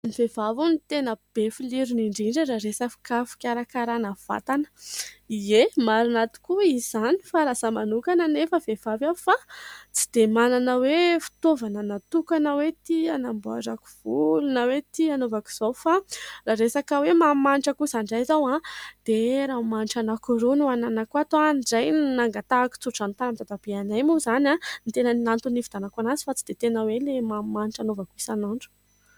Ny vehivavy hono ny tenabe filirony indrindra raha resaka fikarakarana vatana. Ie ! marina tokoa izany fa raha izaho manokana anefa vehivavy aho fa tsy dia manana hoe fitaovana natokana hoe ty hanamboarako volo na hoe ty anaovak'izao. Fa raha resaka hoe manimanitra kosa indray izao a ! dia rano manitra hanaky roa no hananako ato ny iray nangatahako tso-drano tamin'ny dadabe anay moa izany no ny tena antony ny nividianako anazy fa tsy dia tena hoe ilay manimanitra hanaovako isanoandro.